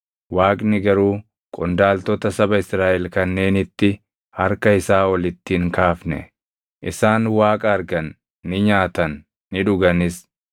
Waaqni garuu qondaaltota saba Israaʼel kanneenitti harka isaa ol itti hin kaafne; isaan Waaqa argan; ni nyaatan; ni dhuganis.